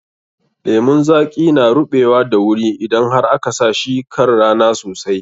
Lemun zaƙi na ruɓewa da wuri idan har aka sa shi kan rana sosai.